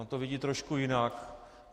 On to vidí trošku jinak.